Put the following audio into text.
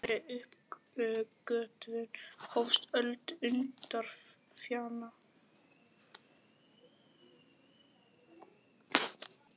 Með þeirri uppgötvun hófst öld undralyfjanna.